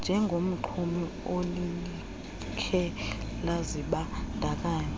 njengomxumi alilikhe lazibandakanya